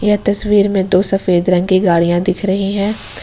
यह तस्वीर में दो सफेद रंग की गाड़िया दिख रही हैं।